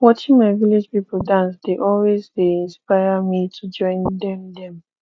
watching my village people dance dey always dey inspire me to join dem dem